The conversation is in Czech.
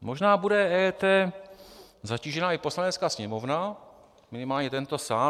Možná bude EET zatížena i Poslanecká sněmovna, minimálně tento sál.